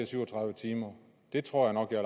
syv og tredive timer det tror jeg nok jeg